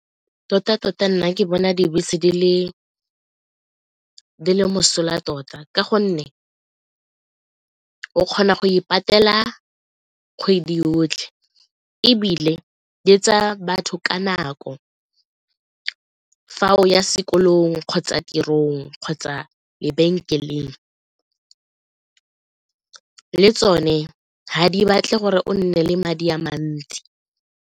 Tota-tota nna ke bona dibese di le mosola tota ka gonne o kgona go e patela kgwedi yotlhe ebile di m tsaya batho ka nako fa o ya sekolong kgotsa tirong kgotsa lebenkeleng, le tsone ha di batle gore o nne le madi a mantsi.